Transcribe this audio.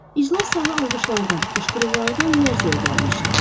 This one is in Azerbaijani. İclas zalı alqışlardan, qışqırıqlardan lərzəyə gəlmişdi.